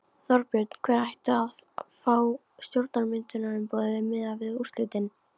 Þorbjörn: Hver ætti að fá stjórnarmyndunarumboðið miðað við úrslitin?